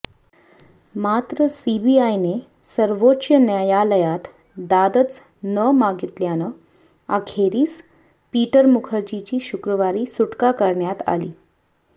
मात्र सीबीआयने सर्वोच्च न्यायालयात दादच न मागितल्यानं अखेरीस पीटर मुखर्जीची शुक्रवारी सुटका करण्यात आली